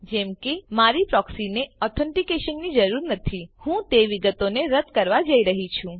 જેમ કે મારી પ્રોક્સીને ઓથ્ન્તીકેશનની જરૂર નથી હું તે વિગતોને રદ કરવા જઈ રહ્યી છું